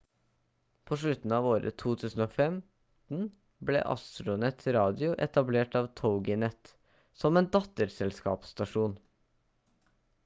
på slutten av året 2015 ble astronet radio etablert av toginet som en datterselskapsstasjon